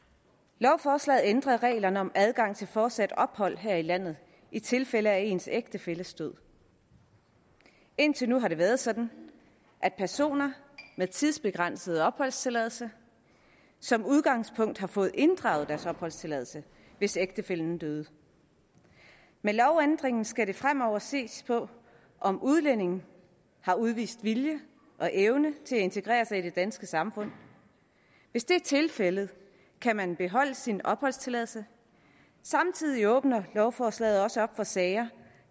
lovforslaget ændrer reglerne om adgang til fortsat ophold her i landet i tilfælde af ens ægtefælles død indtil nu har det været sådan at personer med tidsbegrænset opholdstilladelse som udgangspunkt har fået inddraget deres opholdstilladelse hvis ægtefællen døde med lovændringen skal der fremover ses på om udlændingen har udvist vilje og evne til at integrere sig i det danske samfund hvis det er tilfældet kan man beholde sin opholdstilladelse samtidig åbner lovforslaget også op for at sager